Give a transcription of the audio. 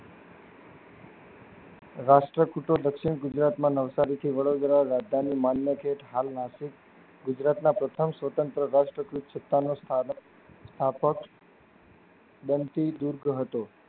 રાષ્ટ્ર કૂટો દક્ષિણ ગુજરાત માં નવસારી થી વડોદરા રાજધાની મલમથી હાલ નાસિક ગુજરાત માં પ્રથમ સ્વતંત્ર રાષ્ટ્ર ગુંચતા નું સ્થાન સ્થાપક બનતું દૂર કર્યું હતું